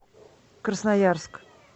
красноярск